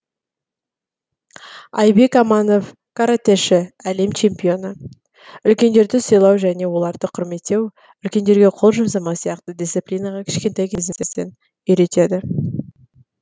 айбек аманов каратэші әлем чемпионы үлкендерді сыйлау және оларды құрметтеу үлкендерге қол жұмсамау сияқты дисциплинаға кішкентай кезімізден үйретеді